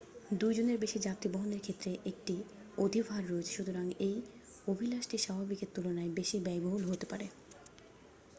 2 জনের বেশি যাত্রী বহনের ক্ষেত্রে একটি অধিভার রয়েছে সুতরাং এই অভিলাষটি স্বাভাবিকের তুলনায় বেশি ব্যয়বহুল হতে পারে